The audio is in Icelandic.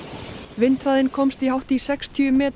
vindhraðinn komst í hátt í sextíu metra